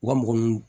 U ka mɔgɔ ɲini